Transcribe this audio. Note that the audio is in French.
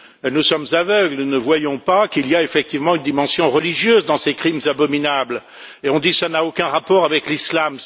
nous sommes aveugles, nous ne voyons pas qu'il y a effectivement une dimension religieuse dans ces crimes abominables et on dit qu'il n'y a aucun rapport avec l'islam.